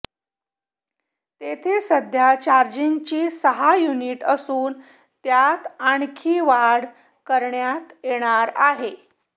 तेथे सध्या चार्जिंगची सहा युनिट असून त्यात आणखी वाढ करण्यात येणार आहे